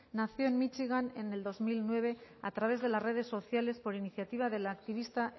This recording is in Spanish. nació en míchigan en el dos mil nueve a través de las redes sociales por iniciativa de la activista